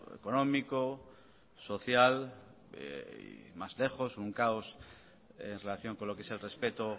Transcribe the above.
económico social más lejos un caos en relación con lo qué es el respeto